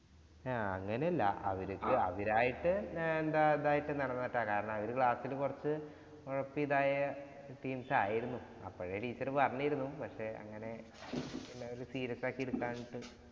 ആഹ് അങ്ങനെയല്ല അവര്ക്ക് അവരായിട്ടു എന്താ ഇതായിട്ടു നടന്നിട്ടാ. കാരണം അവര് class ഇല് കുറച്ചു ഒഴപ്പി ഇതായ teams ആയിരുന്നു. അപ്പഴേ teacher പറഞ്ഞിരുന്നു. പക്ഷെ, അങ്ങനെ വല്യ serious ആക്കി എടുക്കാനിട്ടു